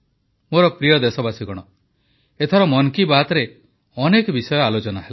ମୋର ପ୍ରିୟ ଦେଶବାସୀଗଣ ଏଥର ମନ କି ବାତରେ ଅନେକ ବିଷୟ ଆଲୋଚନା ହେଲା